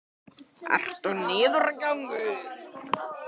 Erla: Hvað er að veginum, hvað er að?